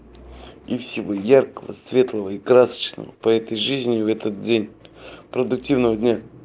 и всего яркого светлого и красочного по этой жизни в этот день продуктивного дня